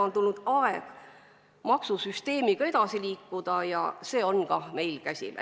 On tulnud aeg maksusüsteemiga edasi liikuda ja see meil käsil ongi.